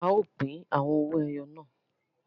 A o pin àwọn owó ẹyọ náà